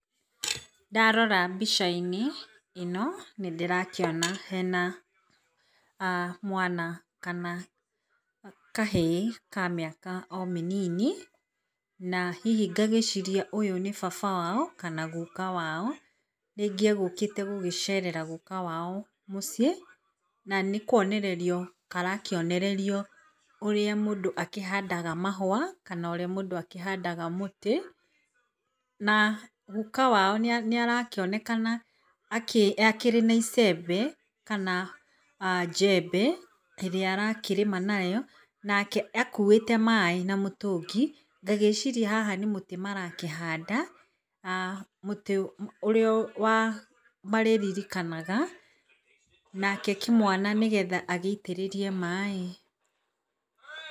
Ndarora mbica-inĩ ino, nĩndĩrakĩona hena mwana kana kahĩĩ ka mĩaka o mĩnini, na hihi ngagĩciria ũyũ nĩ baba wao kana guka wao. Rĩngĩ egũkĩte gũcera guka wao mũci,ĩ na nĩkwonererio karakĩonererio ũrĩa mũndũ akĩhandaga mahũa kana mũndũ ũrĩa akĩhandaga mũtĩ, na guka wao nĩarakĩonekana akĩrĩ na icembe kana jembe rĩrĩa arakĩrĩma narĩo nake akuĩte maĩ na mũtũngi. Ngagĩciria haha nĩ mũte marakĩhanda mũtĩ ũrĩa marĩririkanaga na kĩo kĩmwana agĩitĩrĩrie maĩ.